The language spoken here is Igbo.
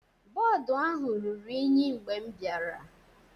Bọọdụ ahụ ruru unyi mgbe m bịara.